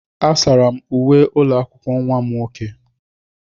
Asara m uwe ụlọ akwụkwọ nwa m nwoke.